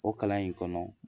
O kalan in kɔnɔ